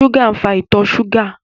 Ṣúgà ń fa ìtọ̀ ṣúgà